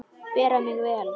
Bera mig vel?